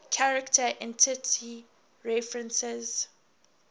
character entity references